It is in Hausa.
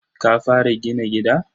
Ka fara gina gida?